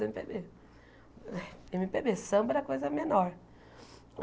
êMe Pê Bê, ême pê bê samba era coisa menor.